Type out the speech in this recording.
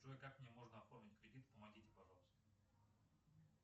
джой как мне можно оформить кредит помогите пожалуйста